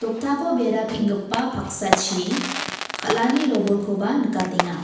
doktako bera peng·gipa paksachi kal·ani robolkoba nikatenga.